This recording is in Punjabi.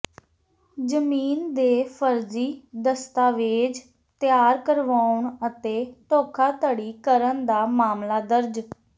ਜ਼ਮੀਨ ਦੇ ਫ਼ਰਜ਼ੀ ਦਸਤਾਵੇਜ਼ ਤਿਆਰ ਕਰਵਾਉਣ ਅਤੇ ਧੋਖਾਧੜੀ ਕਰਨ ਦਾ ਮਾਮਲਾ ਦਰਜ